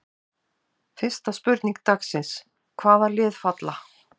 Fyrsta spurning dagsins: Hvaða lið falla?